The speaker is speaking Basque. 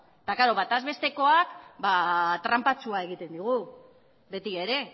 eta klaro batez bestekoak tranpatxoa egiten digu beti ere